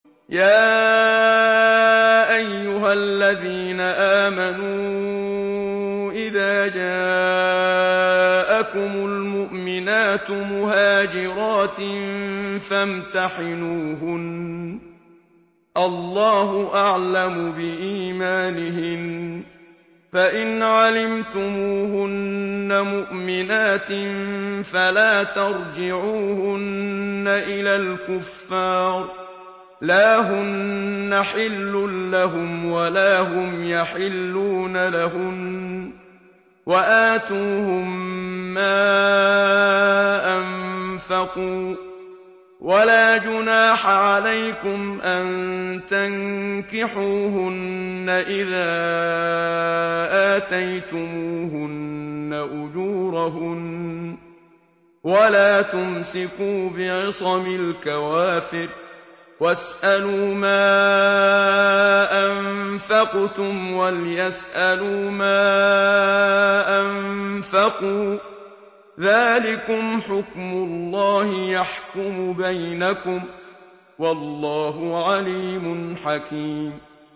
يَا أَيُّهَا الَّذِينَ آمَنُوا إِذَا جَاءَكُمُ الْمُؤْمِنَاتُ مُهَاجِرَاتٍ فَامْتَحِنُوهُنَّ ۖ اللَّهُ أَعْلَمُ بِإِيمَانِهِنَّ ۖ فَإِنْ عَلِمْتُمُوهُنَّ مُؤْمِنَاتٍ فَلَا تَرْجِعُوهُنَّ إِلَى الْكُفَّارِ ۖ لَا هُنَّ حِلٌّ لَّهُمْ وَلَا هُمْ يَحِلُّونَ لَهُنَّ ۖ وَآتُوهُم مَّا أَنفَقُوا ۚ وَلَا جُنَاحَ عَلَيْكُمْ أَن تَنكِحُوهُنَّ إِذَا آتَيْتُمُوهُنَّ أُجُورَهُنَّ ۚ وَلَا تُمْسِكُوا بِعِصَمِ الْكَوَافِرِ وَاسْأَلُوا مَا أَنفَقْتُمْ وَلْيَسْأَلُوا مَا أَنفَقُوا ۚ ذَٰلِكُمْ حُكْمُ اللَّهِ ۖ يَحْكُمُ بَيْنَكُمْ ۚ وَاللَّهُ عَلِيمٌ حَكِيمٌ